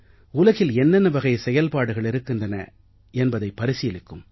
உலகில் என்னென்ன வகை செயல்பாடுகள் இருக்கின்றன என்பதை பரிசீலிக்கும்